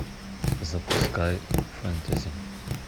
запускай фэнтези